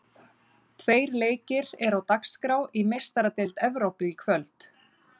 Tveir leikir eru á dagskrá í Meistaradeild Evrópu í kvöld.